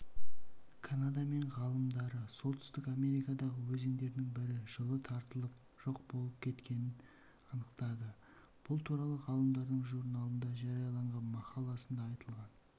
канада мен ғалымдары солтүстік америкадағы өзендердің бірі жылы тартылып жоқ болып кеткенін анықтады бұл туралы ғалымдардың журналында жарияланған мақаласында айтылған